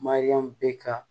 Mariyamu bɛ ka